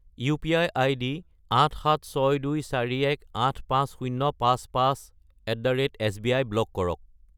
UPI. ID 87624185055@sbi block কৰক।